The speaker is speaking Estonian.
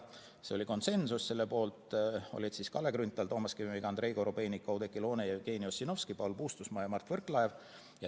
See otsus oli konsensuslik, selle poolt olid Kalle Grünthal, Toomas Kivimägi, Andrei Korobeinik, Oudekki Loone, Jevgeni Ossinovski, Paul Puustusmaa ja Mart Võrklaev.